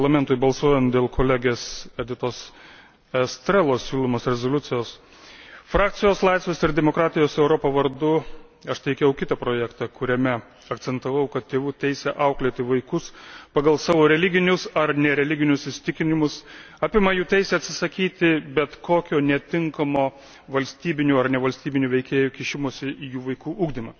d., Parlamentui balsuojant dėl kolegės Editos Estrelos siūlomos rezoliucijos, frakcijos Laisvės ir demokratijos Europa vardu aš teikiau kitą projektą, kuriame akcentavau, kad tėvų teisė auklėti vaikus pagal savo religinius ar nereliginius įsitikinimus apima jų teisę atsisakyti bet kokio netinkamo valstybinių ar nevalstybinių veikėjų kišimosi į jų vaikų ugdymą.